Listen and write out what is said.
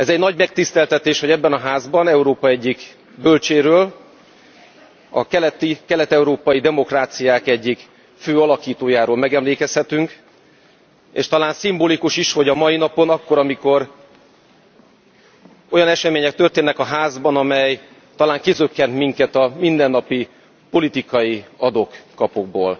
Nagy megtiszteltetés, hogy ebben a házban Európa egyik bölcséről a kelet európai demokráciák egyik fő alakítójáról megemlékezhetünk, és talán szimbolikus is, hogy a mai napon, akkor, amikor olyan események történnek a Házban, amely talán kizökkent minket a mindennapi politikai adok kapokból.